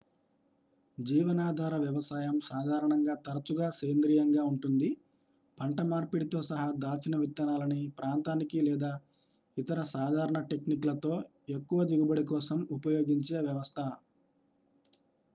జీవనాధార వ్యవసాయం సాధారణంగా తరచుగా సేంద్రీయంగా ఉంటుంది పంట మార్పిడితో సహా దాచిన విత్తనాలని ప్రాంతానికి లేదా ఇతర సాధారణ టెక్నిక్ లతో ఎక్కువ దిగుబడి కోసం ఉపయోగించే వ్యవస్థ